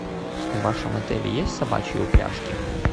в вашем отеле есть собачьи упряжки